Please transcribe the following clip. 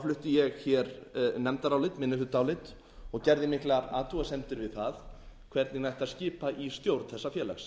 flutti ég hér nefndarálit minnihlutaálit og gerði miklar athugasemdir við það hvernig ætti að skipa í stjórn þessa félags